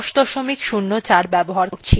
আমি ubuntu ১০ ০৪ ব্যবহার করছি